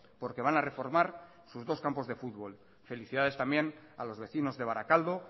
porque van a reformar sus dos campos de fútbol felicidades también a los vecinos de barakaldo